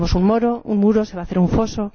Tenemos un muro, se va a hacer un foso.